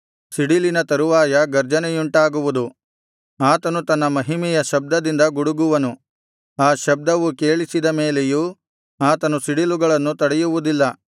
ಸಿಡಿಲಿನ ತರುವಾಯ ಗರ್ಜನೆಯುಂಟಾಗುವುದು ಆತನು ತನ್ನ ಮಹಿಮೆಯ ಶಬ್ದದಿಂದ ಗುಡುಗುವನು ಆ ಶಬ್ದವು ಕೇಳಿಸಿದ ಮೇಲೆಯೂ ಆತನು ಸಿಡಿಲುಗಳನ್ನು ತಡೆಯುವುದಿಲ್ಲ